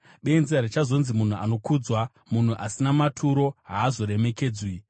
Benzi harichazonzi munhu anokudzwa, munhu asina maturo haazoremekedzwi.